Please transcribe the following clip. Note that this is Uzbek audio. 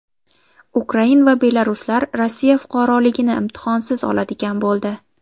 Ukrain va belaruslar Rossiya fuqaroligini imtihonsiz oladigan bo‘ldi.